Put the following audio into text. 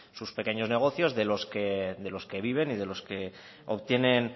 sus pequeños negocios de los que viven y de los que obtienen